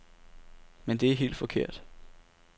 Men det er helt forkert.